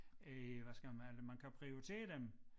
Øh hvad skal man det man kan prioritere dem